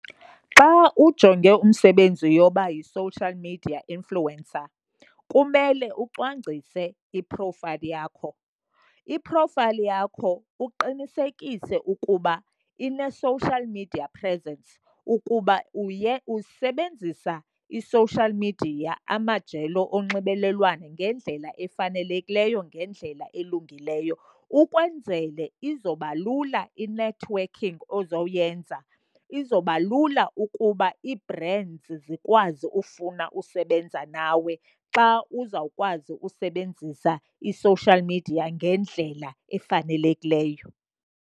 Xa ujonge umsebenzi yoba yi-social media influencer kumele ucwangcise i-profile yakho. I-profile yakho uqinisekise ukuba ine-social media presence ukuba usebenzisa i-social media, amajelo onxibelelwano ngendlela efanelekileyo, ngendlela elungileyo. Ukwenzele izoba lula i-networking ozowuyenza, izoba lula ukuba ii-brands zikwazi ufuna usebenza nawe xa uzawukwazi ukusebenzisa i-social media ngendlela efanelekileyo.